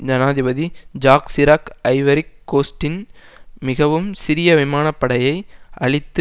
ஜனாதிபதி Jacques Chirac ஐவரிக் கோஸ்ட்டின் மிகவும் சிறிய விமான படையை அழித்து